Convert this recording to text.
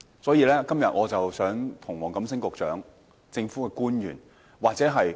所以，我今天想向黃錦星局長、政府官員或公務員表達關注。